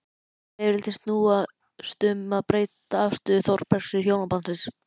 Rifrildin snúast um breytta afstöðu Þórbergs til hjónabandsins.